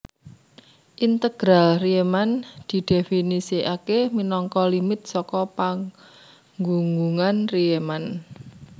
Integral Rieman didhèfinisikaké minangka limit saka panggunggungan Riemann